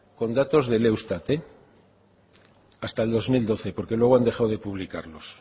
con datos del eustat hasta el dos mil doce porque luego han dejadode publicarlo